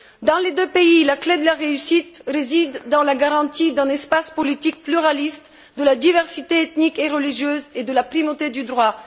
Dans les deux pays, la clé de la réussite réside dans la garantie d'un espace politique pluraliste, de la diversité ethnique et religieuse, et de la primauté du droit.